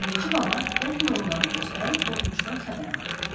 Bilici baba dəfn olunanı göstərib odunçudan xəbər alır.